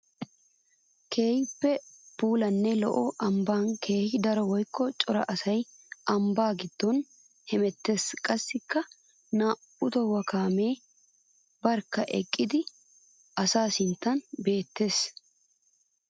Keehippe puulanne lo'iya ambban keehi daro woykko cora asay ambba giddon hemeetes. Qassikka naa'u tohuuwa kaamiya barkka eqqadda asaa sinttan beettawusu.